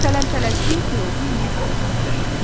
Tələm-tələsik piroqu yeyib qurtardı.